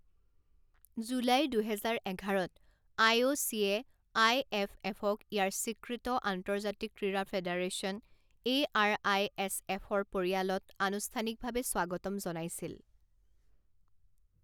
July দুহেজাৰ এঘাৰত I O C I F এফক ইয়াৰ স্বীকৃত আন্তৰ্জাতিক ক্ৰীড়া ফেডাৰেশ্যন এ আৰ আই এছ এফৰ পৰিয়ালত আনুষ্ঠানিকভাৱে স্বাগতম জনাইছিল।